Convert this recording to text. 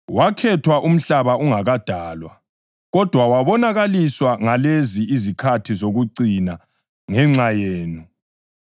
Wakhethwa umhlaba ungakadalwa, kodwa wabonakaliswa ngalezi izikhathi zokucina ngenxa yenu.